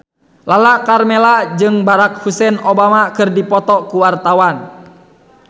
Lala Karmela jeung Barack Hussein Obama keur dipoto ku wartawan